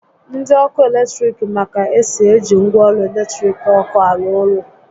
Ndi ọkụ eletrik ma ka esi eji ngwaọrụ latiriki ọkụ arụ orụ